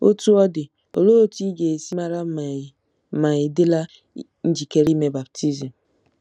Otú ọ dị, olee otú ị ga-esi mara ma ị̀ ma ị̀ dịla njikere ime baptizim?